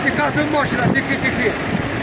Diqqətli ol maşını, diqqətli ol.